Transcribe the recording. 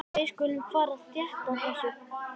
Við skulum fara rétt að þessu.